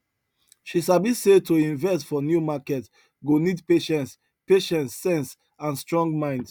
she sabi say to invest for new market go need patience patience sense and strong mind